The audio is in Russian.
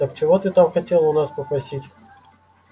так чего ты там хотел у нас попросить